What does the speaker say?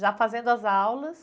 Já fazendo as aulas